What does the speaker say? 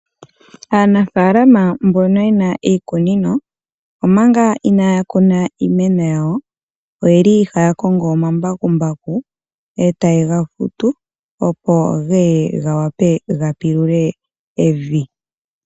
Aanafaalama mbono yena iikunino omanga inaaya kuna iimeno yawo oyeli haya kongo omambakumbaku eta yega futu opo geye ga pilule evi.